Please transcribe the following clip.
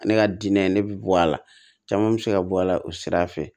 Ne ka diinɛ ne bɛ bɔ a la caman bɛ se ka bɔ a la o sira fɛ